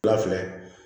Wula filɛ